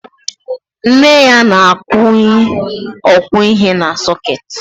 Nne ya na-akwụnye ọkwọihe na sọkeetị